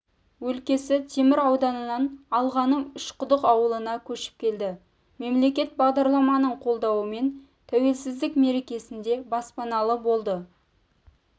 өлкесі темір ауданынан алғаның үшқұдық ауылына көшіп келді мемлекеттік бағдарламаның қолдауымен тәуелсіздік мерекесінде баспаналы болды